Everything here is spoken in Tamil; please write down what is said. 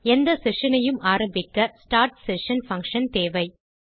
எந்த செஷன் ஐயும் ஆரம்பிக்க ஸ்டார்ட் செஷன் பங்ஷன் தேவை